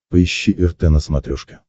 поищи рт на смотрешке